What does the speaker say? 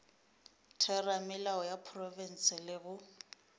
theramelao ya profense le go